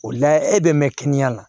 O la e bɛ mɛn kɛnɛya la